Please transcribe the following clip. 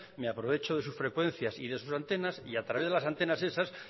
me aprovecho de sus frecuencias y de sus antenas y a través de las antenas esas